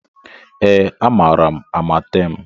Ee, amaara m Amatem